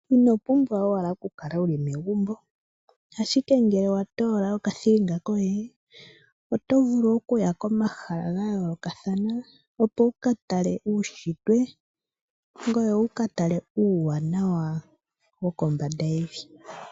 Ino pumbwa owala okukala wu li megumbo, ashike ngele wa toola okathilinga koye, oto vulu okuya komahala ga yoolokathana opo wu ka tale uushitwe. Ngoye wu ka tale uuwanawa wo kombanda yevi.